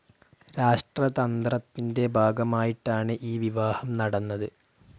രാഷ്ട്രതന്ത്രത്തിൻ്റെ ഭാഗമായിട്ടാണ് ഈ വിവാഹം നടന്നത്.